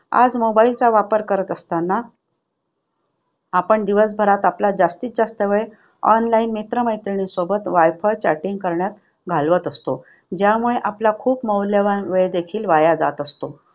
आज mobile चा वापर करत असताना आपण दिवसभरात आपल्या जास्तीत जास्त वेळ online मित्रमंडळी सोबत वायफळ chatting करण्यात घालवतो. ज्यामुळे आपला खूप मौल्यवान वेळ देखील वाया जात असतो.